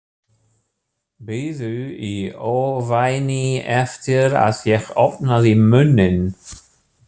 Biðu í ofvæni eftir að ég opnaði munninn.